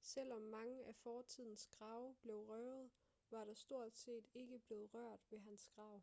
selvom mange af fortidens grave blev røvet var der stort set ikke blev rørt ved hans grav